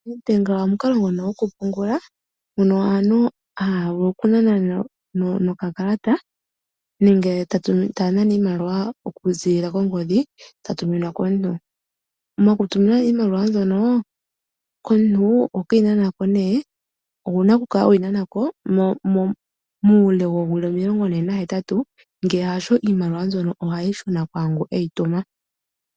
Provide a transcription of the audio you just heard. Nedbank omukalo gokupungula aantu haya vulu okunana nokakalata nenge ta nana iimaliwa okuziilila kongodhi ta tuminwa komuntu. Mokutuminwa nee iimaliwa mbyono komuntu oho ke yi nana ko. Ou na okukala we yi nana ko muule woowili omilongone nahetatu, ngele hasho iimaliwa mbyoka ohayi shuna kwaa ngu e yi tuma.